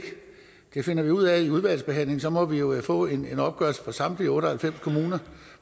det finder vi ud af i udvalgsbehandlingen så må vi jo få en opgørelse fra samtlige otte og halvfems kommuner